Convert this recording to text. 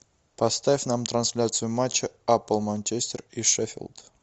поставь нам трансляцию матча апл манчестер и шеффилд